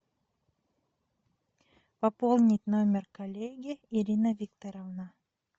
пополнить номер коллеги ирина викторовна